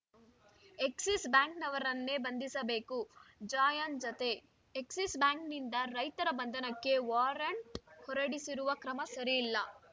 Axis ಬ್ಯಾಂಕ್‌ನವರನ್ನೇ ಬಂಧಿಸಬೇಕು ಜಾಯನ್‌ ಜತೆ ಎಕ್ಸಿಸ್‌ ಬ್ಯಾಂಕ್‌ನಿಂದ ರೈತರ ಬಂಧನಕ್ಕೆ ವಾರಂಟ್‌ ಹೊರಡಿಸಿರುವ ಕ್ರಮ ಸರಿಯಲ್ಲ